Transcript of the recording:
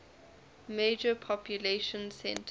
major population centers